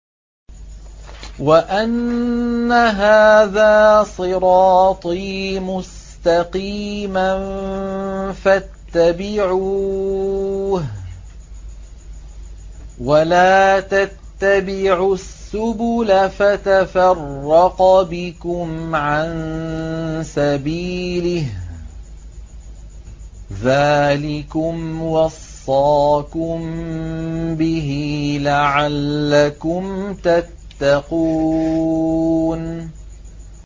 وَأَنَّ هَٰذَا صِرَاطِي مُسْتَقِيمًا فَاتَّبِعُوهُ ۖ وَلَا تَتَّبِعُوا السُّبُلَ فَتَفَرَّقَ بِكُمْ عَن سَبِيلِهِ ۚ ذَٰلِكُمْ وَصَّاكُم بِهِ لَعَلَّكُمْ تَتَّقُونَ